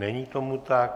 Není tomu tak.